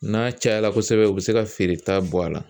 N'a cayala kosɛbɛ u bi se ka feereta bɔ a la.